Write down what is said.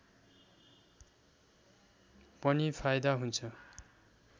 पनि फाइदा हुन्छ